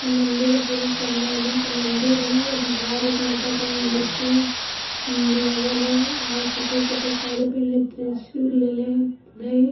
इ मंदिर है पूरा संगमरमर का मंदीर हभारत माता का मूर्ति लगल है और सफ़ेद-सफ़ेद साड़ी पहनले त्रिशूल लेले ह इ।